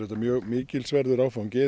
mjög mikilsverður áfangi